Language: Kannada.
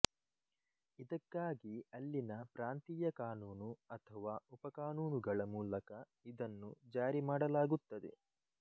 ಇದಕ್ಕಾಗಿ ಅಲ್ಲಿನ ಪ್ರಾಂತೀಯ ಕಾನೂನು ಅಥವಾ ಉಪಕಾನೂನುಗಳ ಮೂಲಕ ಇದನ್ನು ಜಾರಿ ಮಾಡಲಾಗುತ್ತದೆ